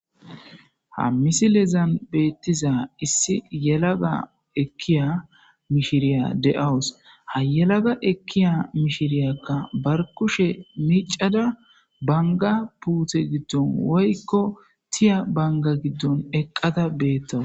Ha misilezan beettiza issi yelaga ekkiya mishiriya deawus ha yelaga ekkiya mishiriyakka bar kushe micada banga puuthe giddon woykko tiya banga giddon eqqata beettawu.